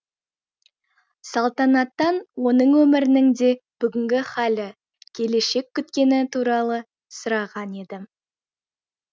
салтанаттан оның өмірінің де бүгінгі халі келешек күткені туралы сұраған еді